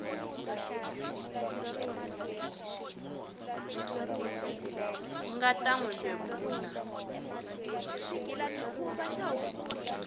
nga ta n wi bebula